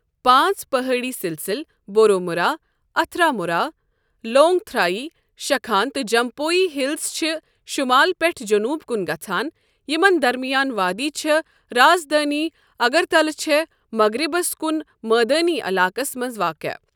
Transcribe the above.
پانٛژ پٔہٲڑی سِلسِلہٕ، بورومُرا، اَتھرامُرا، لونٛگتَھرای، شَخان تہٕ جمپوی ہِلز چھِ شُمال پیٚٹھٕ جٔنوٗب کُن گَژھان، یَمن درمِیان وادِی چھےٚ، رازدٲنہِ اَگرتلہ چھےٚ مغرِبس کُن مٲدٲنی علاقس منٛز واقع۔